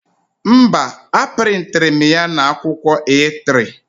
Mba, a prịntịrị m ya na akwụkwọ A3